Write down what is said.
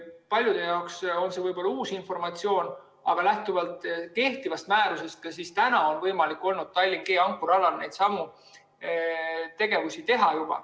Paljude jaoks on see võib-olla uus informatsioon, aga lähtuvalt kehtivast määrusest on ka täna võimalik Tallinna ankrualal G neidsamu tegevusi teha.